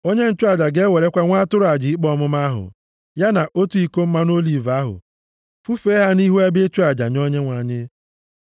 Onye nchụaja ga-ewerekwa nwa atụrụ aja ikpe ọmụma ahụ, ya na otu iko mmanụ oliv ahụ, fufee ha nʼihu ebe ịchụ aja nye Onyenwe anyị.